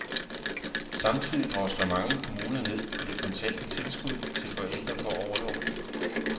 Samtidig drosler mange kommuner ned på det kontante tilskud til forældre på orlov.